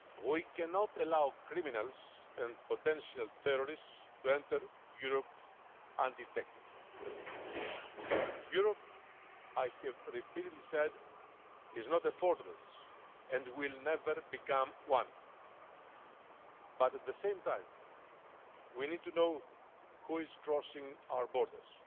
We cannot allow criminals and potential terrorists to enter Europe undetected. Europe, I have repeatedly said, is not a fortress, and will never become one but, at the same time, we need to know who is crossing our borders.